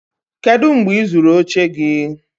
kedu mgbe ị zụrụ oche gị?